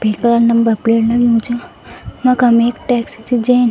कलर क number plate लग्युं च यखम एक टैक्सी च जैन --